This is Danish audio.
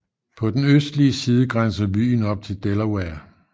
På den østlige side grænser byen op til Delaware